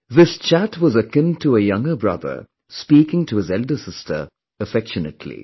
This chat was akin to a younger brother speaking to his elder sister affectionately